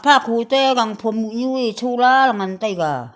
akho te gang phom moh nyu ye chola ngan taiga.